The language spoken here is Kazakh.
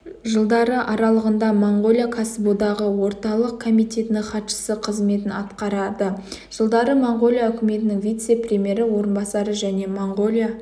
жылдары аралығында моңғолия кәсіподағы орталық комитетінің хатшысы қызметін атқарады жылдары моңғолия үкіметінің вице-премьері орынбасары және моңғолия